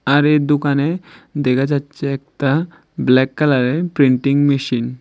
আর এই দুকানে দেখা যাচ্ছে একটা ব্ল্যাক কালারের প্রিন্টিং মেশিন ।